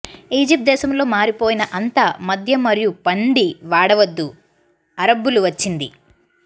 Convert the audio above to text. Egypt దేశములో మారిపోయిన అంతా మద్యం మరియు పంది వాడవద్దు అరబ్బులు వచ్చింది